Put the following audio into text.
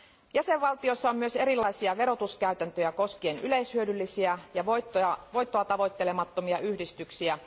Jäsenvaltioissa on myös erilaisia verotuskäytäntöjä koskien yleishyödyllisiä ja voittoa tavoittelemattomia yhdistyksiä.